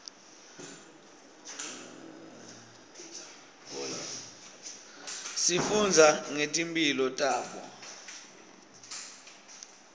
sifundza ngetimphilo tabo